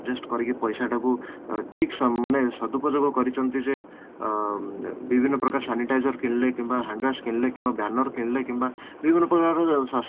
adjust କରିକି ପଇସା ଟାକୁ ଠିକ ସମୟ ମାନେ ସଦୁପଯୋଗ କରିଛନ୍ତି ଯେ ଅଂ ବିଭିନ୍ନ ପ୍ରକାର sanitizer କିଣିଲେ କିମ୍ବା sanitizer କିଣିଲେ କିମ୍ବା banner କିଣିଲେ କିମ୍ବା ବିଭିନା ପ୍ରକାର